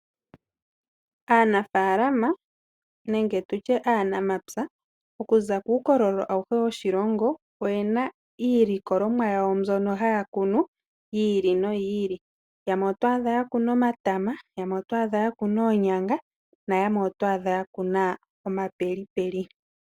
Aanafaalama nenge tutye aanamapya okuza kuu kololo awuhe woshilongo . Oyena iilikolomwa yawo mbyono haya kunu yi ili no yi ili. Yamwe oto adha ya kuna omatama yamwe oto adha yakuna oonyanga yamwe oto adha yakuna oondungu.